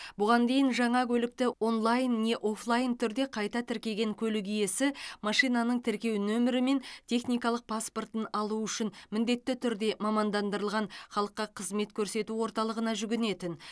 бұған дейін жаңа көлікті онлайн не офлайн түрде қайта тіркеген көлік иесі машинаның тіркеу нөмірі мен техникалық паспортын алу үшін міндетті түрде мамандандырылған халыққа қызмет көрсету орталығына жүгінетін